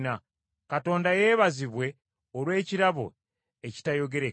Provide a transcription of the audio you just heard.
Katonda yeebazibwe olw’ekirabo ekitayogerekeka.